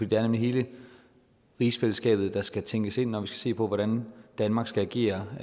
det er nemlig hele rigsfællesskabet der skal tænkes ind når vi skal se på hvordan danmark skal agere